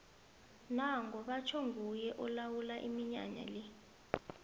nango batjho nguye olawula iminyanya le